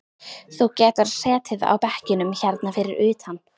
Þú getur setið á bekkjunum hérna fyrir utan.